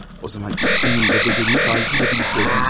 O zaman ikisinin də bədəlini faizi ilə birlikdə ödəyəcəyəm.